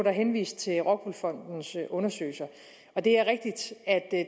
er henvist til rockwool fondens undersøgelser at